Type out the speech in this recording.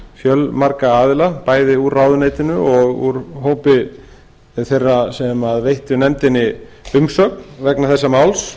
fjölmarga aðila bæði úr ráðuneytinu og úr hópi þeirra sem veittu nefndinni umsögn vegna þessa máls